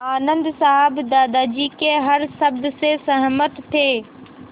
आनन्द साहब दादाजी के हर शब्द से सहमत थे